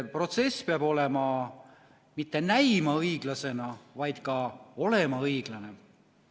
Protsess peab mitte näima õiglasena, vaid ka olema õiglane.